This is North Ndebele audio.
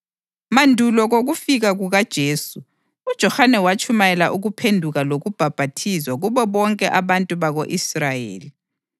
Mandulo kokufika kukaJesu, uJohane watshumayela ukuphenduka lokubhaphathizwa kubo bonke abantu bako-Israyeli.